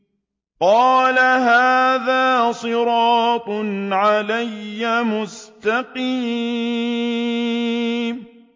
قَالَ هَٰذَا صِرَاطٌ عَلَيَّ مُسْتَقِيمٌ